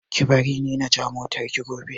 Ki bar ni na ja motar ki gobe